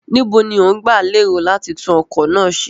Níbo ni ó ń gba lérò láti tún ọkọ̀ náà ṣe?